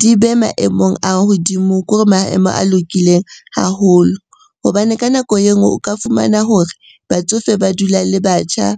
di be maemong a hodimo. Ke hore maemo a lokileng haholo hobane ka nako e nngwe o ka fumana hore batsofe ba dula le batjha,